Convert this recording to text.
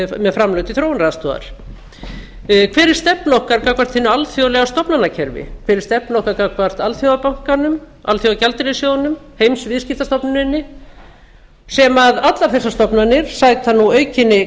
með framlög til þróunaraðstoðar hver er stefna okkar gagnvart hinu alþjóðlega stofnanakerfi hver er stefna okkar gagnvart alþjóðabankanum alþjóðagjaldeyrissjóðnum heimsviðskiptastofnuninni allar þessar stofnanir sæta nú aukinni